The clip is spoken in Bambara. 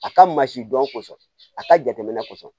A ka masidɔn kosɔn a ka jateminɛ kɔsɔn